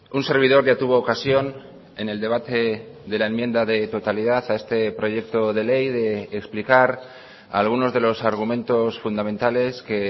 un servidor ya tuvo ocasión en el debate de la enmienda de totalidad a este proyecto de ley de explicar algunos de los argumentos fundamentales que